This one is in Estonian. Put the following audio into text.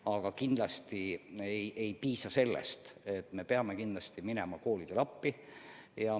Aga kindlasti sellest ei piisa, me peame kindlasti minema koolidele appi.